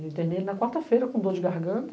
Eu internei ele na quarta-feira com dor de garganta,